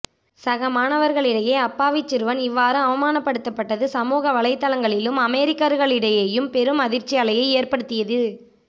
சக மாணவர்களிடையே அப்பாவிச் சிறுவன் இவ்வாறு அவமானப்படுத்தப்பட்டது சமூக வலைதளங்களிலும் அமெரிக்கர்களிடையேம் பெரும் அதிர்ச்சி அலையை ஏற்படுத்தியது